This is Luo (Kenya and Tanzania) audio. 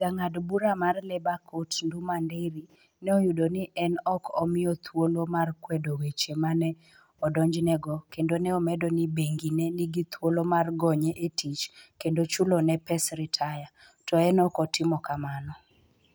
Jang'ad bura mar Labour Court, Nduma Nderi, ne oyudo ni ne ok omiye thuolo mar kwedo weche ma ne odonjnego, kendo ne omedo ni bengi ne nigi thuolo mar gonye e tich kendo chulone pes ritaya, to ne ok otimo kamano.